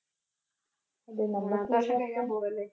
മൂന്നാമത്തെ വർഷം കഴിയാൻ പോകുവല്ലേ?